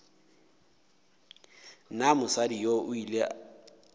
na mosadi yoo o ile